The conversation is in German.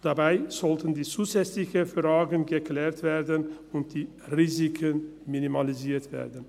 Dabei sollten die zusätzlichen Fragen geklärt und die Risiken minimalisiert werden.